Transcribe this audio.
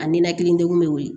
A ninakili degun bɛ wuli